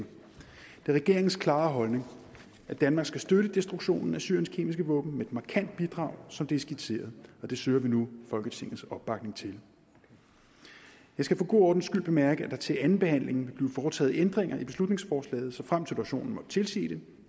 regeringens klare holdning at danmark skal støtte destruktionen af syriens kemiske våben med et markant bidrag som det er skitseret og det søger vi nu folketingets opbakning til jeg skal for god ordens skyld bemærke at der til anden behandling vil blive foretaget ændringer i beslutningsforslaget såfremt situationen måtte tilsige det